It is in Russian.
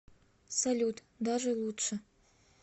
салют даже лучше